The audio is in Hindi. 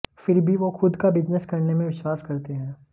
फिर भी वो खुद का बिजनेस करने में विश्वास करते हैं